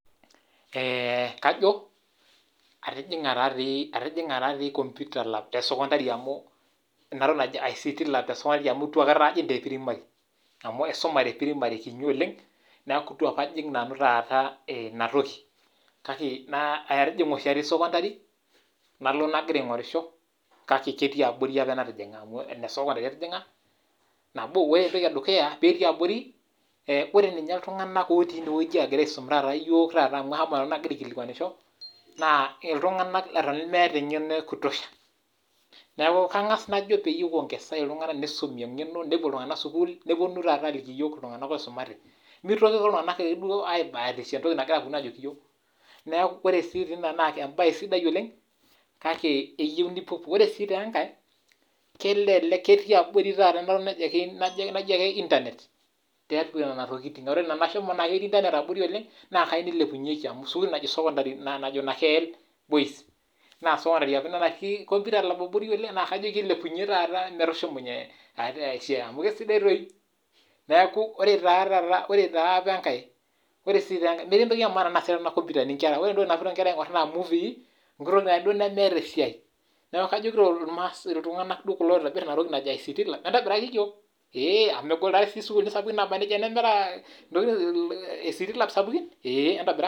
Atijinga taadoi lab te sekodari amu meetae te primarily. Na ketii apa ina siai abori te sukuul apa natii ninye naji nakeel secondary. Na keitiki ajo ilepua amu etoki nayeuo ayiolou ajo enetipat. Hoo naa ore apa iltungana ogira aisum ninye naa mee ariyiak apa teina rishata.